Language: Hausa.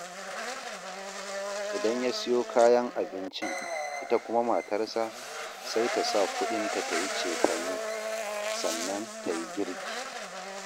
Idan ya siyo kayan abincin, ita kuma matarsa sai ta sa kuɗinta ta yi cefane, sannan ta yi girki